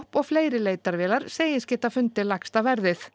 og fleiri leitarvélar segist geta fundið lægsta verðið